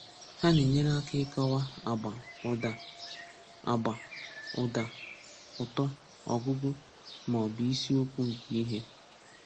Ha na-enyere aka ịkọwa agba, ụda, agba, ụda, ụtọ, ọgụgụ, ma ọ bụ isi okwu nke ihe.